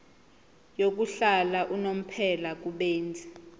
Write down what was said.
yokuhlala unomphela kubenzi